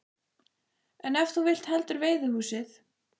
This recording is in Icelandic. En ef þú vilt heldur veiðihúsið?